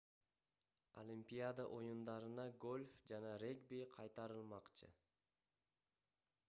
олимпиада оюндарына гольф жана регби кайтарылмакчы